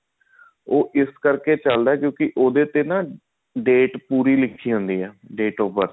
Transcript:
ਉਹ ਇਸ ਕਰਕੇ ਚੱਲਦਾ ਹੈ ਕਿਉਂਕਿ ਉਹਦੇ ਤੇ ਨਾ date ਪੂਰੀ ਲਿਖੀ ਹੁੰਦੀ ਆ date of birth